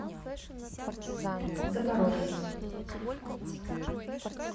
запорожье